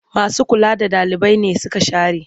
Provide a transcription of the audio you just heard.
Masu kula da ɗalibai nesuka share.